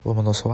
ломоносова